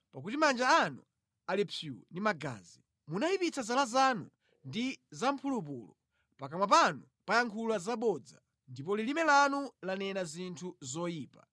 Pakuti manja anu ali psuu ndi magazi. Munayipitsa zala zanu ndi zamphulupulu. Pakamwa panu payankhula zabodza, ndipo lilime lanu lanena zinthu zoyipa.